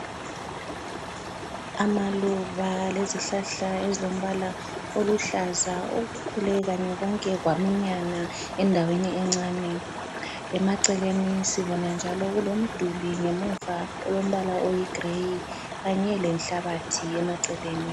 Amaluba lezihlahla ezilombala oluhlaza okukhule kanye konke kwaminyana endaweni encane. Emaceleni sibona njalo kulomduli emuva olombala oyigrey kanye lenhlabathi emaceleni.